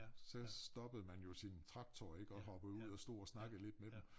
Så stoppede man jo sin traktor ik og hoppede ud og stod og snakkede lidt med dem